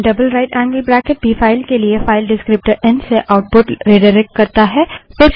N double right angled bracket भी file के लिए फाइल डिस्क्रीप्टर एन से आउटपुट रिडाइरेक्ट करता है